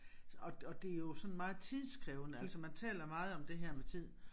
Og og det jo sådan meget tidskrævende altså man taler meget om det her med tid